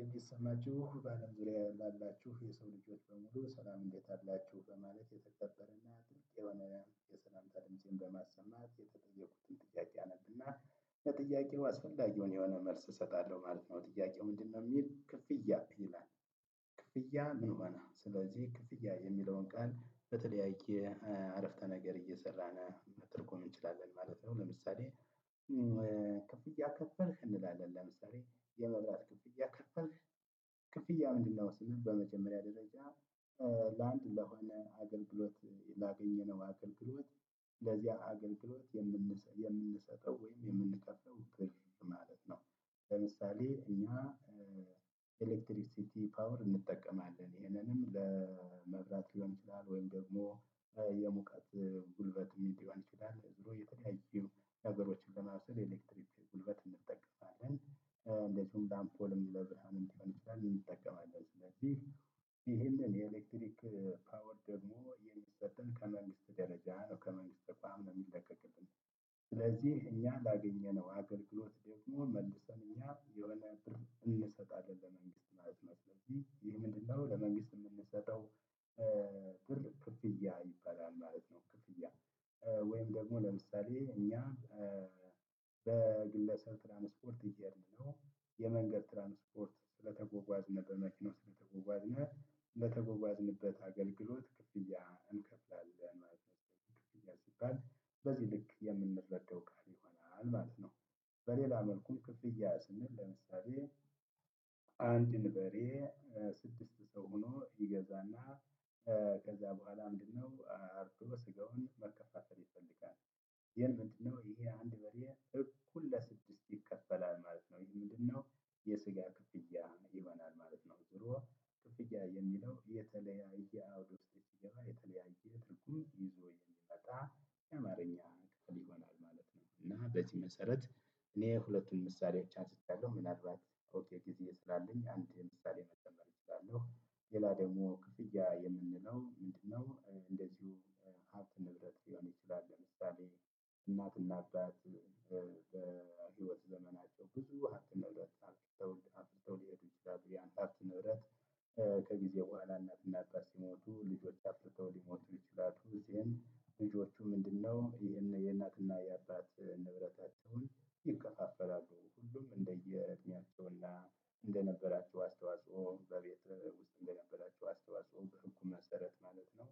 የሚሰማችሁ በአለም ዙሪያ ላላችሁ የሰው ልጆች በሙሉ በሰላም እንዴት አላችሁ በማለት የተገበረና የሆነ የሰላምታ ድምጽን በማሰማት የተጠየቁትን ጥያቄ አነብና ከጥያቄው አስፈላጊውን የሆነ መልስ እሰጣለሁ ማለት ነው። ጥያቄው ምንድነው የሚል ክፍያ ይላል ክፍያ ምን ማለት ነው ስለዚህ ክፍያ የሚለውን ቃል በተለያየ አረፍተ ነገር እየሰራን መተርጎም እንችላለን ማለት ነው። ለምሳሌ ክፍያ ከፈልሽ እንላለን ለምሳሌ የመብራት ክፍያ ከፈልሽ ክፍያ ምንድነው ስንል በመጀመሪያ ደረጃ ለአንድ ለሆነ አገልግሎት ላገኘነው አገልግሎት ለዚያ አገልግሎት የምንሰጠው ወይም የምንከፍለው ቅድም ማለት ነው። ለምሳሌ እኛ ኤሌክትሪክሲቲ ፓወር እንጠቀማለን። ይሄንንም ለመብራት ሊሆን ይችላል ወይም ደግሞ የሙቀት ጉልበት ሊሆን ይችላል። ዝሮ የተለያዪ ነገሮችን ለማብሰል ኤሌክትሪክ ጉልበት እንጠቀማለን። እንደዚሁም አምፖል ለብርሃን እንዲሆን እንጠቀማለን። ስለዚህ ይሄንን የኤሌክትሪክ ፓወር ደግሞ ከመንግስት ደረጃ ነው ከመንግስት ተቋም ነው የሚለቀቅልን ስለዚህ እኛ ላገኘነው አገልግሎት ደግሞ መልሰን እኛ የሆነ ብር እንሰጣለን። ለመንግስት ማለት ነው። ስለዚህ ይህ ምንድነው ለመንግስት የምንሰጠው ብር ክፍያ ይባላል ማለት ነው። ክፍያ ወይም ደግሞ ለምሳሌ እኛ በግለሰብ ትራንስፖርት እየሄድን ነው የመንገድ ትራንስፖርት ስለተጓጓዝንበት መኪናው ስለተጓጓዝንበት አገልግሎት ክፍያ እንከፍላለን። በዚህ ልክ የምንረዳው ቃል ይሆናል ማለት ነው። በሌላ መልኩም ክፍያ ስንል ለምሳሌ አንድን በሬ ስድስት ሰው ሆኖ ይገዛና ከዛ በኋላ ምንድነው አብሮ ስጋውን መከፋፈል ይፈልጋል። ይሄን ምንድነው ይሄ አንድ በሬ እኩል ለስድስት ይከፈላል ማለት ነው። ይሄ ምንድነው የስጋ ክፍያ ይሆናል ማለት ነው። ዞሮ ክፍያ የሚለው የተለያየ አውድ ውስጥ ሲገባ የተለያየ ትርጉም ይዞ የሚመጣ የአማርኛ ክፍል ይሆናል ማለት ነው። እና በዚ መሰረት እኔ ሁለቱን ምሳሌዎች አንስቼያለሁ ምን አልባት በቂ ጊዜ ስላለኝ አንድ ምሳሌ መጨመር እችላለሁ። ሌላ ደግሞ ክፍያ የምንለው ምንድነው እንደዚሁ ሀብት ንብረት ሊሆን ይችላል። ለምሳሌ እናትና አባት በህይወት ዘመናቸው ብዙ ሀብት ንብረትን አፍርተው አብረው ሊሆን ይችላሉ ያንዳች ንብረት ከጊዜ በኋላ እናትና አባት ሲሞቱ ልጆች አፍርተው ሊሞቱ ይችላሉ። ይህም ልጆቹ ምንድነው ይህን የእናትና የአባት ንብረታቸውን ይከፋፈላሉ። ሁሉም እንደየእድሜያቸውና እንደነበራቸው አስተዋፅዖ መሰረት ማለት ነው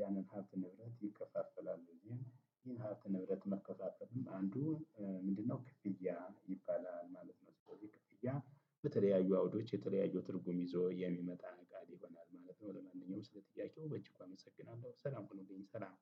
ያንን ሀብት ንብረት ይከፋፈላሉ። እንደዚህም ይህን ሀብት ንብረት መከፋፈልም አንዱ ምንድነው ክፍያ ይባላል ማለት ነው። ስለዚህ ክፍያ በተለያዩ አውዶች የተለያዩ ትርጉም ይዞ የሚመጣ ቃል ይሆናል ማለት ነው። ለማንኛውም ስለ ጥያቄው በእጅጉ አመሰግናለሁ። ሰላም ሁኑልኝ ሰላም